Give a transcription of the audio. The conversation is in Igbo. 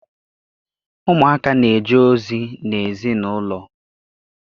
Ụmụaka na-eje ozi n'ezinaụlọ.